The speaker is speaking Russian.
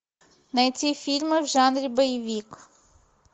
найти фильмы в жанре боевик